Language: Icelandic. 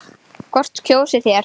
SKÚLI: Hvort kjósið þér?